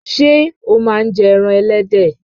Sé o má n je ẹran ẹlẹ́dẹ̀